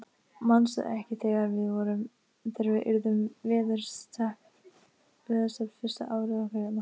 Manstu ekki þegar við urðum veðurteppt fyrsta árið okkar hérna?